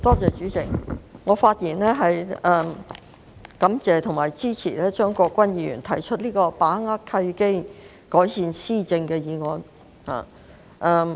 代理主席，我發言感謝和支持張國鈞議員提出的"把握契機，改善施政"議案。